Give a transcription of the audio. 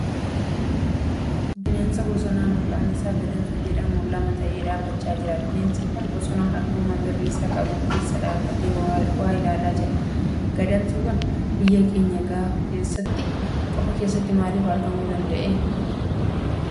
Bineensa bosonaa maqaan isaa Gadamsa jedhamutu lama ta'ee dhaabbachaa jira. Bineensi kun bosona halluu magariisa qabu keessa dhaabbatee waa ilaalaa jira. Gadamsi kun biyya keenya qofaa keessatti maaliif argamuu danda'e?